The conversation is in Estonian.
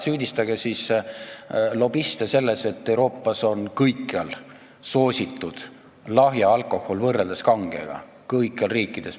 Süüdistage siis lobiste selles, et Euroopas on kõikjal lahja alkohol võrreldes kangega soositud, kõigis riikides.